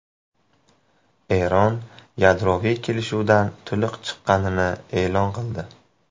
Eron yadroviy kelishuvdan to‘liq chiqqanini e’lon qildi.